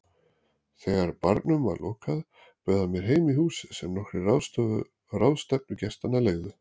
Þegar barnum var lokað bauð hann mér heim í húsið sem nokkrir ráðstefnugestanna leigðu.